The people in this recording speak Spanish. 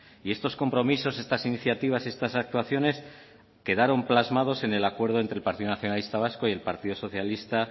y estos compromisos estas iniciativas y estas actuaciones quedaron plasmaron entre el acuerdo del partido nacionalista vasco y el partido socialista